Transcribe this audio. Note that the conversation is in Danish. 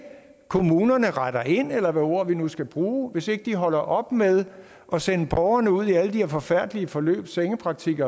kommunerne retter ind eller hvilket ord vi nu skal bruge hvis ikke de holder op med at sende borgerne ud i alle de her forfærdelige forløb sengepraktik